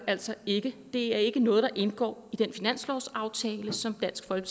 altså ikke det er ikke noget der indgår i den finanslovsaftale som blandt andet